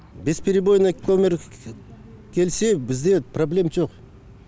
без перебойно көмір келсе бізде проблем жоқ